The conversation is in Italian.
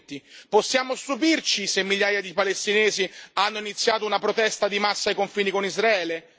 2020. Possiamo stupirci se migliaia di palestinesi hanno iniziato una protesta di massa ai confini con Israele?